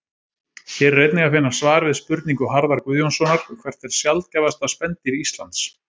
Hér er einnig að finna svar við spurningu Harðar Guðjónssonar Hvert er sjaldgæfasta spendýr Íslands?